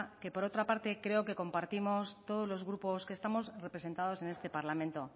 que por otra parte creo que compartimos todos los grupos que estamos representados en este parlamento